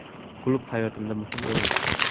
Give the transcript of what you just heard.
Klub hayotimda muhim o‘rin tutadi.